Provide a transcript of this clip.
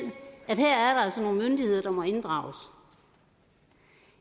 at her er nogle myndigheder der må inddrages